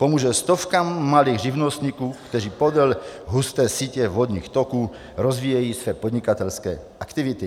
Pomůže stovkám malých živnostníků, kteří podél husté sítě vodních toků rozvíjejí své podnikatelské aktivity.